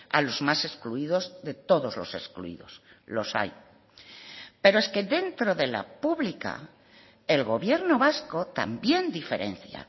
a los más excluidos de todos los excluidos los hay pero es que dentro de la pública el gobierno vasco también diferencia